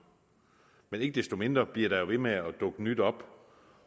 men ikke desto mindre bliver der jo ved med at dukke nyt op